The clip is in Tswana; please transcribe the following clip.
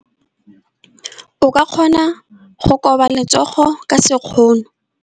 O ka kgona go koba letsogo ka sekgono.